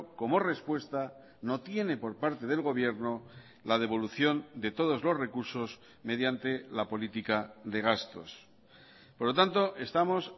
como respuesta no tiene por parte del gobierno la devolución de todos los recursos mediante la política de gastos por lo tanto estamos